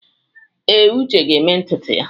Ee, Uche ga-eme ntutu ya.